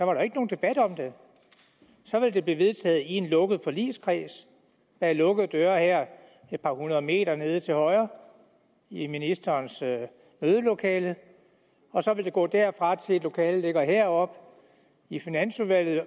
jo ikke nogen debat om det så ville det blive vedtaget i en lukket forligskreds bag lukkede døre her et par hundrede meter nede til højre i ministerens mødelokale og så ville det gå derfra og til et lokale der ligger heroppe i finansudvalget og